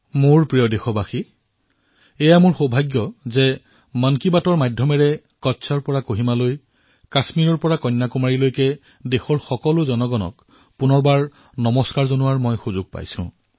মোৰ মৰমৰ দেশবাসীসকল এয়া মোৰ সৌভাগ্য যে মন কী বাতৰ জৰিয়তে মই কচ্ছৰ পৰা আৰম্ভ কৰি কহিমা কাশ্মীৰৰ পৰা আৰম্ভ কৰি কন্যাকুমাৰীলৈ দেশৰ সকলো নাগৰিকক পুনৰবাৰ নমস্কাৰ জনোৱাৰ সুবিধা লাভ কৰিছো